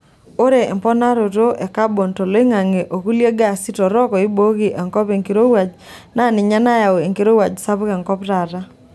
Ore emponaroto e kabon toloingange o klie gaasi torok oibooki enkop enkirowuaj naa ninye nayawua enkirowuaj sapuk enkop taata.